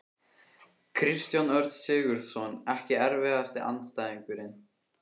Kristján Örn Sigurðsson Ekki erfiðasti andstæðingur?